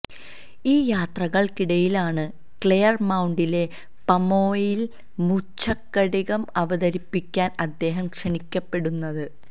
ഈ യാത്രകള്ക്കിടയിലാണ് ക്ലെയര് മൌണ്ടിലെ പമോനയില് മൃച്ഛകടികം അവതരിപ്പിക്കാന് അദ്ദേഹം ക്ഷണിക്കപ്പെടുന്നത്